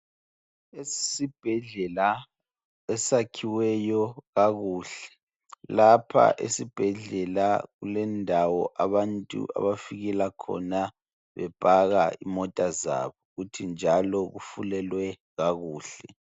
Esibhedlela esakhiweyo kakuhle .Lapha esibhedlela kulendawo abantu abafikela khona bepaka imota zabo kuthi njalo kufulelwe kakuhle.